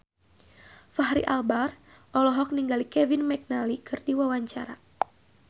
Fachri Albar olohok ningali Kevin McNally keur diwawancara